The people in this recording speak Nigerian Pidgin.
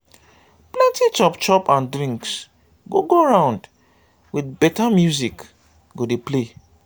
plenti chop chop and drinks go go round with beta music go dey play